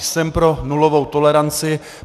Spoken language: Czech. Jsem pro nulovou toleranci.